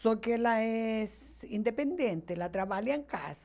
Só que ela é independente, ela trabalha em casa.